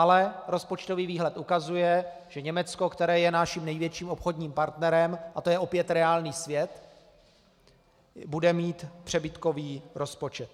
Ale rozpočtový výhled ukazuje, že Německo, které je naším největším obchodním partnerem, a to je opět reálný svět, bude mít přebytkový rozpočet.